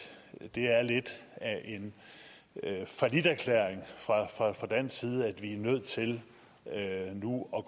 det er lidt af en falliterklæring fra dansk side at vi er nødt til nu at